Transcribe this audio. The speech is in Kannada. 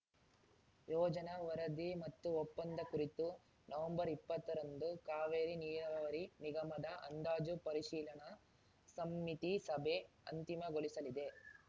ಯೋಜನಾ ವರದಿ ಮತ್ತು ಒಪ್ಪಂದ ಕುರಿತು ನವಂಬರ್ಇಪ್ಪತ್ತರಂದು ಕಾವೇರಿ ನೀರಾವರಿ ನಿಮಗದ ಅಂದಾಜು ಪರಿಶೀಲನಾ ಸಮಿತಿ ಸಭೆ ಅಂತಿಮಗೊಳಿಸಲಿದೆ